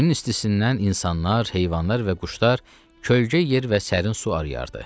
Günün istisindən insanlar, heyvanlar və quşlar kölgə yer və sərin su arıyırdı.